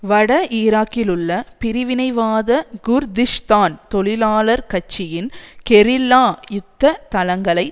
வட ஈராக்கிலுள்ள பிரிவினைவாத குர்திஷ்தான் தொழிலாளர் கட்சியின் கெரில்லா யுத்த தளங்களை